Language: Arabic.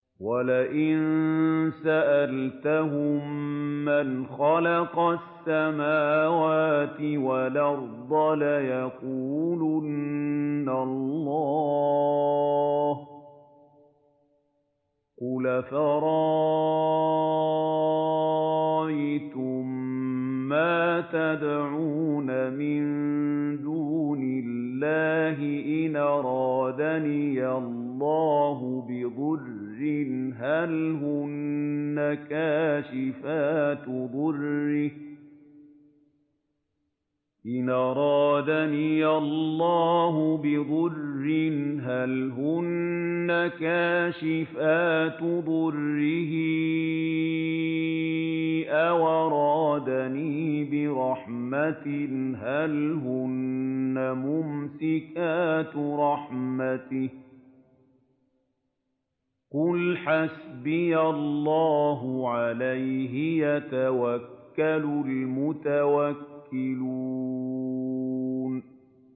وَلَئِن سَأَلْتَهُم مَّنْ خَلَقَ السَّمَاوَاتِ وَالْأَرْضَ لَيَقُولُنَّ اللَّهُ ۚ قُلْ أَفَرَأَيْتُم مَّا تَدْعُونَ مِن دُونِ اللَّهِ إِنْ أَرَادَنِيَ اللَّهُ بِضُرٍّ هَلْ هُنَّ كَاشِفَاتُ ضُرِّهِ أَوْ أَرَادَنِي بِرَحْمَةٍ هَلْ هُنَّ مُمْسِكَاتُ رَحْمَتِهِ ۚ قُلْ حَسْبِيَ اللَّهُ ۖ عَلَيْهِ يَتَوَكَّلُ الْمُتَوَكِّلُونَ